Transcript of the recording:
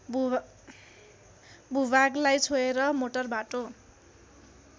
भूभागलाई छोएर मोटरबाटो